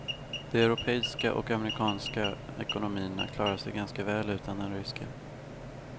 De europeiska och amerikanska ekonomierna klarar sig ganska väl utan den ryska.